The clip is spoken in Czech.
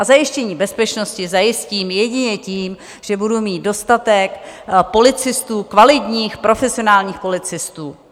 A zajištění bezpečnosti zajistím jedině tím, že budu mít dostatek policistů, kvalitních, profesionálních policistů.